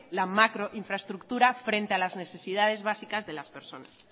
la macro infraestructura frente a las necesidades básicas de las personas